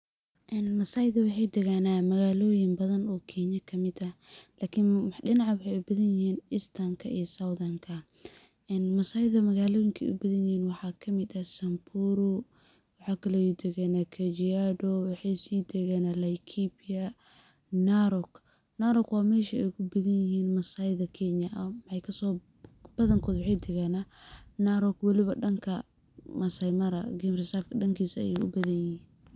En Maasayda waxay deegaana magaaloyin badan oo Kenya kamid ah, lakin dhinaca waxay u badan yihiin istanka iyo southanka, in maasayda magaaloyinkay u badan yihiin waxa kamid ah samburu, waxakale oo deegana kajiado, waxay si deeggana laikipia, narok. Narok waa mesha ay kubadan yihiin maasayda Kenya, badan kod waxay deeggana Narok weliba dhanka maasai mara game reserve dhankaas ayay u badan yihiin.